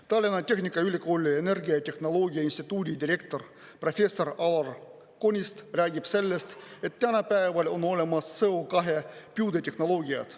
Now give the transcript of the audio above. Tallinna Tehnikaülikooli Energiatehnoloogia instituudi direktor professor Alar Konist räägib sellest, et tänapäeval on olemas CO2 püüde tehnoloogiad.